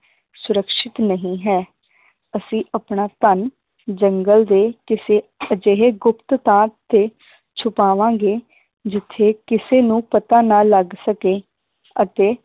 ਸੁਰੱਖਸ਼ਿਤ ਨਹੀ ਹੈ ਅਸੀਂ ਆਪਣਾ ਧਨ ਜੰਗਲ ਦੇ ਕਿਸੇ ਅਜਿਹੇ ਗੁਪਤ ਥਾਂ ਤੇ ਛੁਪਾਵਾਂਗੇ ਜਿਥੇ ਕਿਸੇ ਨੂੰ ਪਤਾ ਨਾ ਲੱਗ ਸਕੇ ਅਤੇ